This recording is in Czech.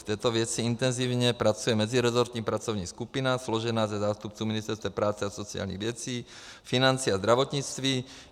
V této věci intenzivně pracuje meziresortní pracovní skupina složená ze zástupců ministerstev práce a sociálních věcí, financí a zdravotnictví.